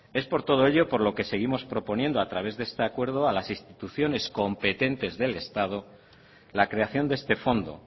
es por todo ello por lo que seguimos proponiendo a través de este acuerdo a las instituciones competentes del estado la creación de este fondo